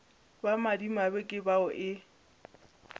ba madimabe ke bao e